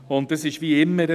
Und es ist wie immer: